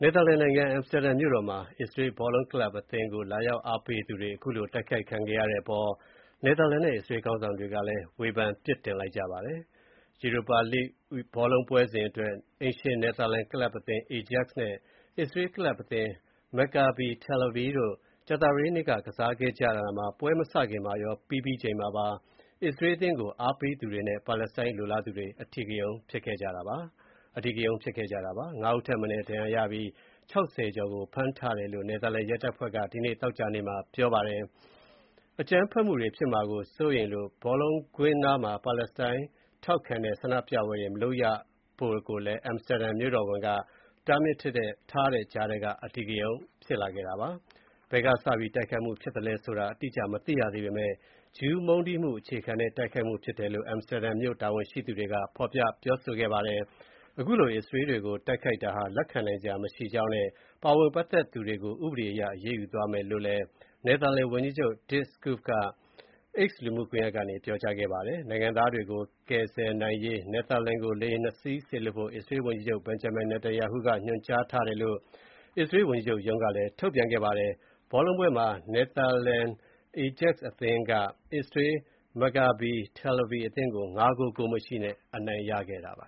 နယ်သာလန်နိုင်ငံ အမ်စတာဒမ်မြို့တော်မှာ အစ္စရေးဘော်လုံးကလပ်အသင်းကို လာရောက် အားပေးသူတွေ တိုက်ခိုက်ခံရတဲ့အပေါ် နယ်သာလန်နဲ့ အစ္စရေးခေါင်းဆောင်တွေ ဝေဖန်ပြစ်တင်လိုက်ကြပါတယ်။ Europa League ဘောလုံးပွဲစဉ်အတွက် အိမ်ရှင်နယ်သာလန်ကလပ်သင်း Ajax နဲ့ အစ္စရေးကလပ် အသင်း Maccabi Tel Aviv တို့ ကြာသပတေးနေ့က ကစားခဲ့တာမှာ ပွဲမစခင်မှာရော ပွဲပြီးချိန်မှာပါ အစ္စရေးအသင်းကို အားပေးသူတွေနဲ့ ပါလက်စတိုင်းလိုလားသူတွေ အဓိကရုဏ်းဖြစ်ခဲ့ကြတာပါ။ ၅ ဦးထက်မနည်း ဒဏ်ရာရပြီး ၆၀ ကျော်ကို ဖမ်းဆီးထားတယ်လို့ နယ်သာလန် ရဲတပ်ဖွဲ့က ဒီနေ့ သောကြာနေ့မှာ ပြောပါတယ်။ အကြမ်းဖက်မှုတွေ ဖြစ်မှာစိုးရိမ်လို့ ဘောလုံးကွင်းနားမှာ ပါလက်စတိုင်းထောက်ခံတဲ့ ဆန္ဒပြပွဲတွေ မလုပ်ရလို့ အမ်စတာဒမ်မြို့တော်ဝန်က တားမြစ်ထားတဲ့ကြားက အဓိကရုဏ်းဖြစ်ခဲ့တာပါ။ ဘယ်ကစပြီး တိုက်ခိုက်မှုဖြစ်သလဲဆိုတာ အတိအကျ မသိရသေးပေမဲ့ ဂျူးမုန်းတီးမှုအခြေခံတဲ့ တိုက်ခိုက်မှုဖြစ်တယ်လို့ အမ်စတာဒမ်မြို့ တာဝန်ရှိသူတွေက ဖော်ပြပြောဆိုခဲ့ပါတယ်။ အခုလို အစ္စရေးတွေကိုတိုက်ခိုက်တာဟာ လက်ခံနိုင်စရာမရှိကြောင်းနဲ့ ပါဝင်ပတ်သက်သူတွေကို ဥဒေအရရေးယူသွားမယ်လို့ နယ်သာလန်ဝန်ကြီးချုပ် Dick Schoof က X လူမှုကွန်ယက်ကနေ ပြောကြားခဲ့ပါတယ်။ နိုင်ငံသားတွေကို ကယ်ဆယ်နိုင်ရေး နယ်သာလန်ကို လေယာဉ် ၂ စင်း စေလွှတ်ဖို့ အစ္စရေးဝန်ကြီးချုပ် Benjamin Netanyahu က ညွှန်ကြားထားတယ်လို့ ဝန်ကြီးချုပ်ရုံးကလည်း ထုတ်ပြန်ခဲ့ပါတယ်။ ဘောလုံးပွဲမှာ နယ်သာလန် Ajax အသင်းက အစ္စရေး Maccabi Tel Aviv အသင်းကို ၅ ဂိုး၊ ဂိုးမရှိနဲ့ အနိုင်ရခဲ့ပါ